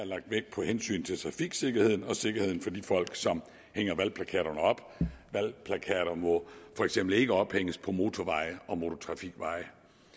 lagt vægt på hensynet til trafiksikkerheden og sikkerheden for de folk som hænger valgplakaterne op valgplakater må for eksempel ikke ophænges på motorveje og motortrafikveje